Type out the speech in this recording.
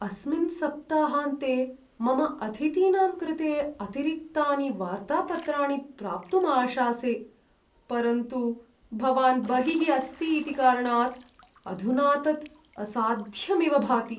अस्मिन् सप्ताहान्ते मम अतिथीनां कृते अतिरिक्तानि वार्तापत्राणि प्राप्तुम् आशासे, परन्तु भवान् बहिः अस्ति इति कारणात् अधुना तत् असाध्यम् इव भाति।